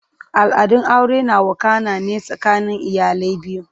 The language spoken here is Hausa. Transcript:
Al'adun aure na wakana ne tsakanin iyalai biyu.